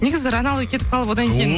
негізі рональдо кетіп қалып одан кейін